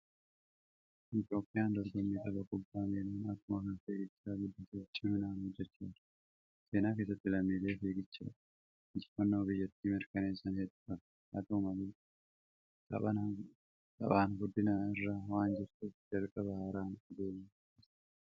Itoophiyaan dorgommii tapha kubbaa miilaa akkuma kan fiiggichaa guddisuuf ciminaan hojjechaa jirti. Seenaa keessatti lammiilee fiiggichaadhaan injifannoo biyyattii mirkaneessan hedduu qabdi. Haa ta'u malee, taphaan guddina irra waan jirtuuf jalqabbii haaraan adeemaa jirti.